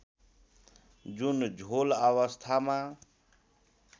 जुन झोल अवस्थामा